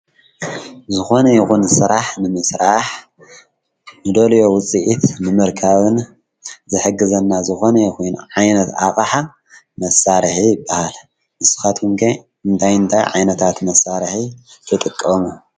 ዝኾነ ይኹን ስራሕ ንምስራሕ ንደልዮ ውፂኢት ምምርካብን ዘሕግዘና ዝኾነ ይኹይን ዓይነት ኣቓሓ መሣርሒ ይበሃል። ንስኻትኩም ከ እንታይ እንታይ ዓይነታት መሳርሒ ትጥቀሙ?